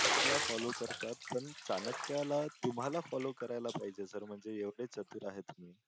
ला फॉलो करतात तर चाणक्यला तुम्हाला फॉलो करायला पाहिजे सर म्हणजे एवढे चतुर आहे तुम्ही.